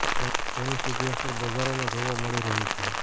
જેની સીધી અસર બજારોમાં જોવા મળી રહી છે